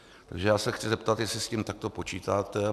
Takže já se chci zeptat, jestli s tím takto počítáte.